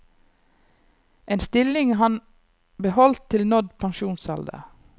En stilling han beholdt til nådd pensjonsalder.